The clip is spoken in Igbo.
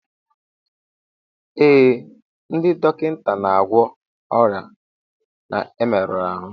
Ee, ndị dọkịta na-agwọ ọrịa na mmerụ ahụ